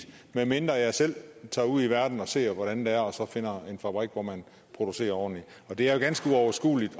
medmindre jeg selv tager ud i verden og ser hvordan det er og så finder en fabrik hvor man producerer ordentligt og det er jo ganske uoverskueligt